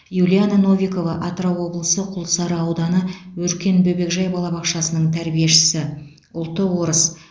юлиана новикова атырау облысы құлсары ауданы өркен бөбекжай балабақшасының тәрбиешісі ұлты орыс